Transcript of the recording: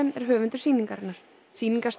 er höfundur sýningarinnar